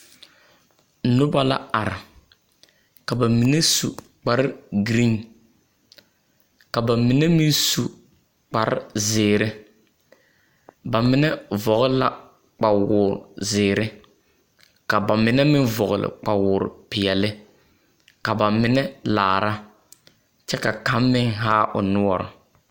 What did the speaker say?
Nobɔ la are, ka ba mine su kpare-giriiŋ, ka ba mine meŋ su kparezeere. Ba mine vɔgele la kpawoor-zeere, ka ba mine meŋ vɔgle kpawoor-peɛle, ka ba mine laara, kyɛ ka ba kaŋ meŋ haa o noɔre.